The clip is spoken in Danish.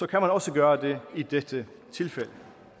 kan man også gøre det i dette tilfælde